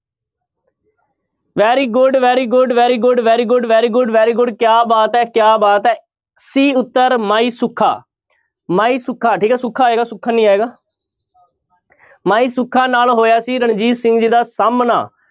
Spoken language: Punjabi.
Very good, very good, very good, very good, very good, very good ਕਿਆ ਬਾਤ ਹੈ ਕਿਆ ਬਾਤ ਹੈ c ਉੱਤਰ ਮਾਈ ਸੁੱਖਾ, ਮਾਈ ਸੁੱਖਾ ਠੀਕ ਹੈ ਸੁੱਖਾ ਆਏਗਾ ਸੁੱਖਾ ਨੀ ਆਏਗਾ ਮਾਈ ਸੁੱਖਾ ਨਾਲ ਹੋਇਆ ਸੀ ਰਣਜੀਤ ਸਿੰਘ ਜੀ ਦਾ ਸਾਹਮਣਾ।